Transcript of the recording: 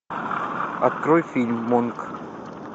открой фильм монк